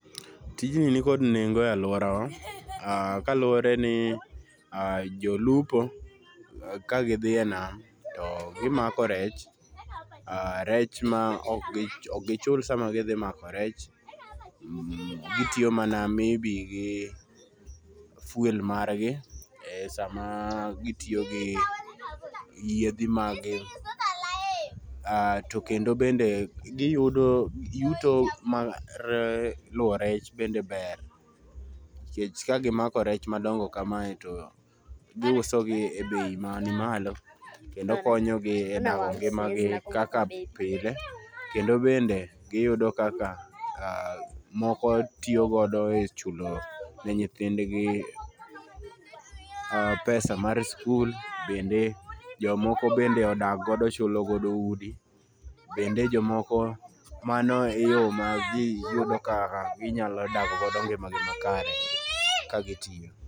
Tijni nikod nengo e aluora wa kaluore ni aah, jolupo kagidhi e nam to gimako rech ,aah, rech ma okgi chul sama gidhi mako rech, gitiyo mana maybe gi fuel margi e sama gitiyo gi yiedhi mag gi, aah to kendo bende giyudo ,yuto ma luo rech bende ber nikech ka gimako rech madongo kamae to giuso gi e bei mani malo kendo konyogi e loko ngima gi kaka pile kendo bende giyudo kaka moko tio godo e chulo ne nyithindgi, aah pesa mar skul. Bende jomoko bende odak godo chulo godo udi, bende jomoko mano e yoo ma giyudo ka ginyalo dak go ngima margi makare ka gitiyo